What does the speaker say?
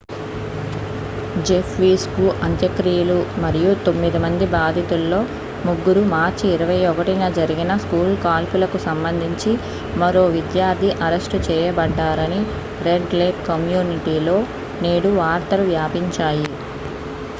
Jeff Weise కు అంత్యక్రియలు మరియు తొమ్మిది మంది బాధితుల్లో ముగ్గురు మార్చి 21న జరిగిన స్కూలు కాల్పులకు సంబంధించి మరో విద్యార్థి అరెస్టు చేయబడ్డారని రెడ్ లేక్ కమ్యూనిటీలో నేడు వార్తలు వ్యాపించాయి